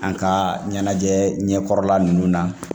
An ka ɲɛnajɛ ɲɛkɔrɔla ninnu na